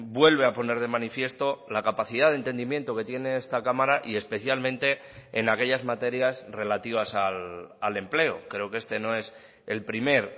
vuelve a poner de manifiesto la capacidad de entendimiento que tiene esta cámara y especialmente en aquellas materias relativas al empleo creo que este no es el primer